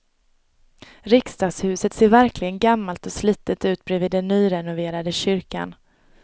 Riksdagshuset ser verkligen gammalt och slitet ut bredvid den nyrenoverade kyrkan.